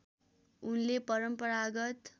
उनले परम्परागत